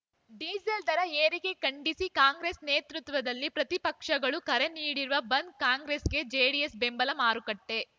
diesel ದರ ಏರಿಕೆ ಖಂಡಿಸಿ ಕಾಂಗ್ರೆಸ್‌ ನೇತೃತ್ವದಲ್ಲಿ ಪ್ರತಿಪಕ್ಷಗಳು ಕರೆ ನೀಡಿರುವ ಬಂದ್‌ ಕಾಂಗ್ರೆಸ್‌ಗೆ ಜೆಡಿಎಸ್‌ ಬೆಂಬಲ ಮಾರುಕಟ್ಟೆ